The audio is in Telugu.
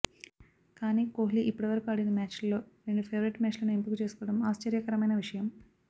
కానీ కోహ్లి ఇప్పటివరకూ ఆడిన మ్యాచ్ల్లో రెండు ఫేవరెట్ మ్యాచ్లను ఎంపిక చేసుకోవడం ఆశ్చర్యకరమైన విషయం